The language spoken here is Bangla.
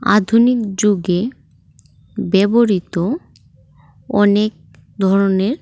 আধুনিক যুগে ব্যবহৃত অনেক ধরনের--